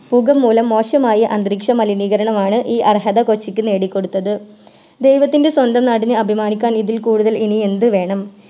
പുക മൂലം മോശമായ അന്തരീക്ഷ മലിനീകരണമാണ് ഈ അർഹത കൊച്ചിക്ക് നേടിക്കൊടുത്തത് ദൈവത്തിൻറെ സ്വന്തം നാടിന് അഭിമാനിക്കാൻ ഇതി കൂടുതൽ ഇനി എന്തുവേണം